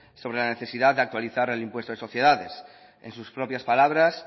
sobre la necesidad de actualizar el impuesto de sociedades en sus propias palabras